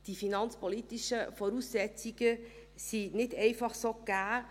Die finanzpolitischen Voraussetzungen sind nicht einfach so gegeben.